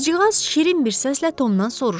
Qızcığaz şirin bir səslə Tomdan soruşdu: